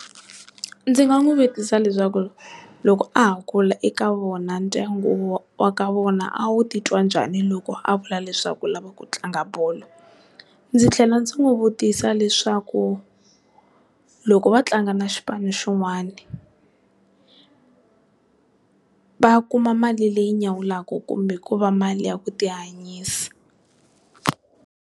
Ndzi nga n'wi vutisa leswaku loko a ha kula eka vona ndyangu wa ka vona a wu titwa njhani loko a vula leswaku u lava ku tlanga bolo. Ndzi tlhela ndzi n'wi vutisa leswaku loko va tlanga na xipano xin'wana, va kuma mali leyi nyawulaka kumbe ko va mali ya ku ti hanyisa.